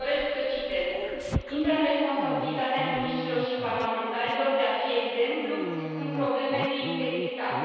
Și doresc să citez intră în responsabilitatea miniștrilor și parlamentarilor de a fi exemplu în probleme de integritate.